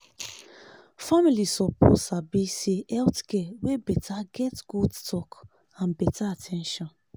family suppose sabi say health care wey beta get good talk and better at ten tion.